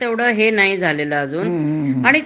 तेवढं हे नाही झालेल आजून आणि